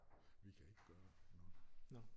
Vi kan ikke gøre noget